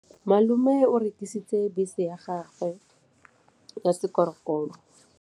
Malome o rekisitse bese ya gagwe ya sekgorokgoro.